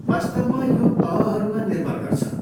वास्तवमा यो तहहरूमा निर्भर गर्छ।